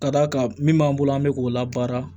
Ka d'a kan min b'an bolo an bɛ k'o la baara